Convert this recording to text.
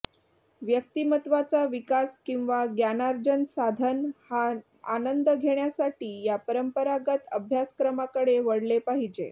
व्यक्तिमत्त्वाचा विकास किंवा ज्ञानार्जन साधन हा आनंद घेण्यासाठी या परंपरागत अभ्यासक्रमाकडे वळले पाहिजे